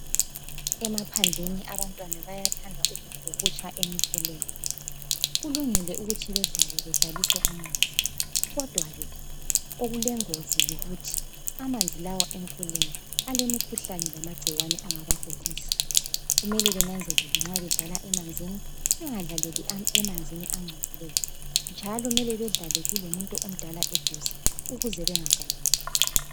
Emaphandleni abantwana bayathanda ukubhukutsha emifuleni, kulungile ukuthi bedlale bedlalise amanzi kodwa ke okulengozi yikuthi amanzi lawa emfuleni alemikhuhlane lamagcikwane angabagulisa kumele banzelele nxa bedlala emanzini bengadlaleli emanzini angcolileyo njalo mele bedlale kulomuntu omdala eduze ukuze bangagaluli